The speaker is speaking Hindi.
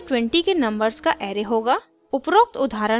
आउटपुट 1 से 20 के नंबर्स का array होगा